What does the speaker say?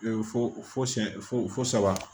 fo fo siyɛn fo fo saba